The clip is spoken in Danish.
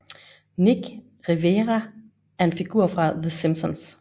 Nick Riviera er en figur fra The Simpsons